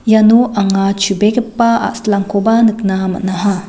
iano anga chubegipa a·silangkoba nikna man·aha.